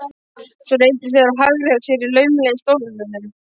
Svo reyndu þeir að hagræða sér laumulega í stólunum.